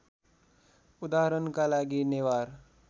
उदाहरणका लागि नेवार